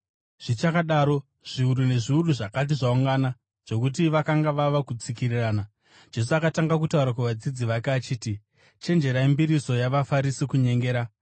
Zvichakadaro, zviuru nezviuru zvakati zvaungana, zvokuti vakanga vava kutsikirirana, Jesu akatanga kutaura kuvadzidzi vake achiti, “Chenjererai mbiriso yavaFarisi, kunyengera.